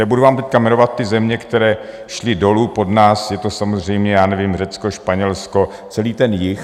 Nebudu vám teď jmenovat ty země, které šly dolů pod nás, je to samozřejmě, já nevím, Řecko, Španělsko, celý ten jih.